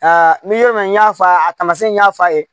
Aa n'i y'a mɛn n y'a fɔ a ye a tamasɛn n y'a f'a ye